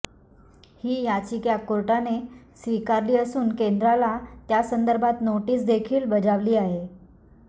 ही याचिका कोर्टाने स्वीकारली असून केंद्राला त्यासंदर्भात नोटीसदेखील बजावली आहे